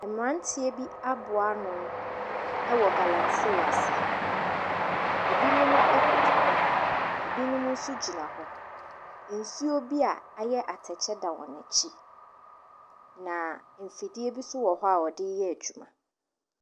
Mmeranteɛ bi aboa ano wɔ galamsey ase. Ɛbinom koto hɔ ɛbinom nso gyina hɔ. Nsuo bi a ayɛ atɛkyɛ da wɔn akyi. Na mfidie bi nso wɔhɔ a wɔde reyɛ adwuma.